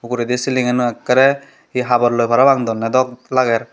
uguredi siling aano ekkere hi habor loi parapang donne dok lager.